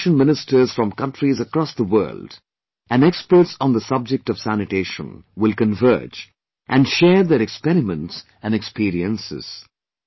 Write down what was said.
Sanitation Ministers from countries across the world and experts on the subject of sanitation will converge and share their experiments and experiences